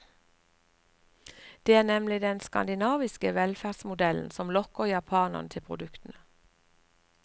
Det er nemlig den skandinaviske velferdsmodellen som lokker japanerne til produktene.